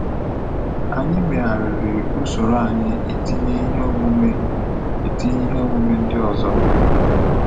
Anyị meghariri usoroanyi itinye ihe omume itinye ihe omume ndị ozo